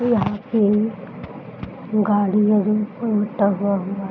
यहाँ पे गाड़ी ओड़ी उलटा हुआ हुआ --